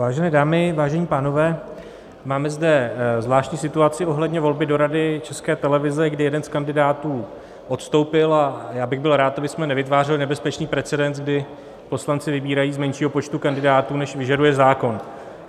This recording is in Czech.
Vážené dámy, vážení pánové, máme zde zvláštní situaci ohledně volby do Rady České televize, kdy jeden z kandidátů odstoupil, a já bych byl rád, abychom nevytvářeli nebezpečný precedens, kdy poslanci vybírají z menšího počtu kandidátů, než vyžaduje zákon.